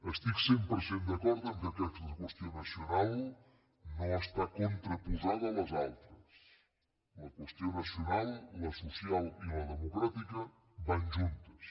estic cent per cent d’acord que aquesta qüestió nacional no està contraposada a les altres la qüestió nacional la social i la democràtica van juntes